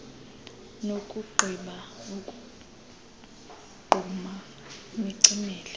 nakugqiba ukuzogquma nicimele